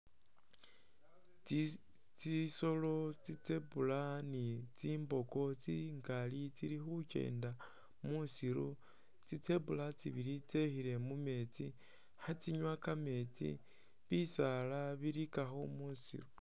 Tsitsolo tsi zebra ni tsimboko tsingali tsili khukyenda mwusiru tsi zebra tsibili tsekhile mumetsi khetsinyuwa kameetsi, bisaala bilikakho mwisiru.